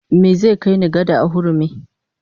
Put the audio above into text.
Me zai kai ni, gada a hurumi?